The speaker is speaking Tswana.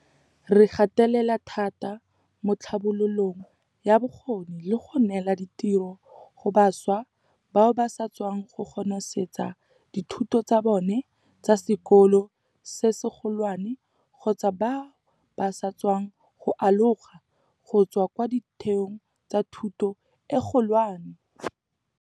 Re gatelela thata mo tlhabololong ya bokgoni le go neela ditiro go bašwa bao ba sa tswang go konosetsa dithuto tsa bone tsa sekolo se segolwane kgotsa bao ba sa tswang go aloga go tswa kwa ditheong tsa thuto e kgolwane.